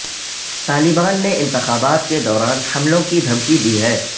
طالبان نے انتخابات کے دوران حملوں کی دھمکی دی ہے